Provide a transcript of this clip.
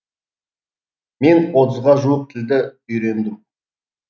мен отызға жуық тілді үйрендім